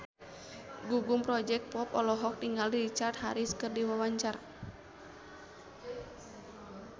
Gugum Project Pop olohok ningali Richard Harris keur diwawancara